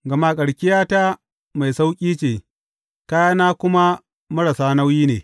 Gama karkiyata mai sauƙi ce, kayana kuma marasa nauyi ne.